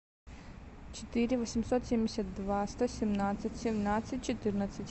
четыре восемьсот семьдесят два сто семнадцать семнадцать четырнадцать